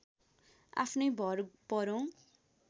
आफ्नै भर परौँ